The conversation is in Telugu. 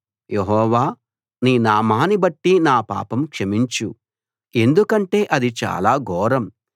యెహోవా నీ నామాన్నిబట్టి నా పాపం క్షమించు ఎందుకంటే అది చాలా ఘోరం